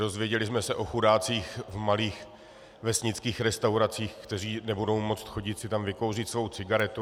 Dozvěděli jsme se o chudácích v malých vesnických restauracích, kteří nebudou moct chodit si tam vykouřit svou cigaretu.